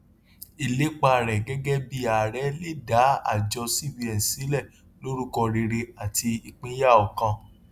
ìlépa rẹ gẹgẹ bí ààrẹ le dá àjọ cbn sílẹ lórúkọ rere àti ìpínyà ọkàn